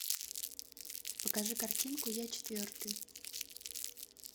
покажи картинку я четвертый